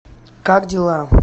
как дела